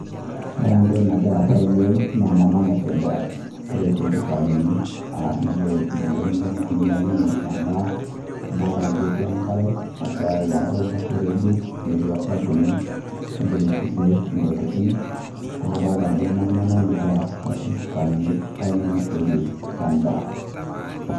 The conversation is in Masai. Ore entoki nagira aasa tene wei naa emama naisuja nagira aisuj isaani arashu intoking' duo naitumaki ainosie endaa, adolita ajo etii enkare nagira aipang'u tormuseregi netii osabuni ogira aisujui intokitin, naa kadolita ajo emama ena nagira aisuj isaanini duo nainosiei endaa.